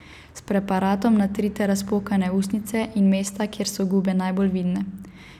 S preparatom natrite razpokane ustnice in mesta, kjer so gube najbolj vidne.